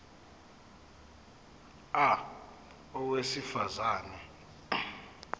a owesifaz ane